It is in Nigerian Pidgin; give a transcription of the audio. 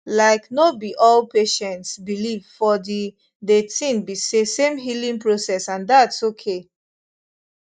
laik no bi all patients believe for di de tin be say same healing process and thats okay